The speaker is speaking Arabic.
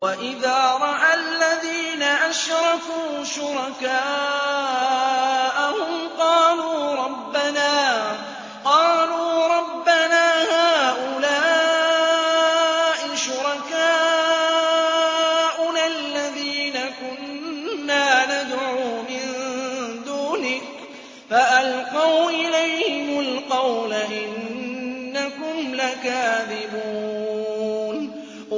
وَإِذَا رَأَى الَّذِينَ أَشْرَكُوا شُرَكَاءَهُمْ قَالُوا رَبَّنَا هَٰؤُلَاءِ شُرَكَاؤُنَا الَّذِينَ كُنَّا نَدْعُو مِن دُونِكَ ۖ فَأَلْقَوْا إِلَيْهِمُ الْقَوْلَ إِنَّكُمْ لَكَاذِبُونَ